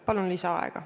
Palun lisaaega!